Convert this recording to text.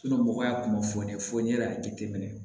mɔgɔ y'a kunnafoniya fɔ n'i yɛrɛ y'a jateminɛ